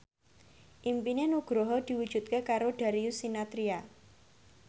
impine Nugroho diwujudke karo Darius Sinathrya